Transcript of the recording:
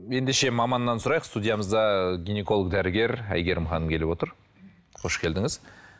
ендеше маманнан сұрайық студиямызда гинеколог дәрігер әйгерім ханым келіп отыр қош келдіңіз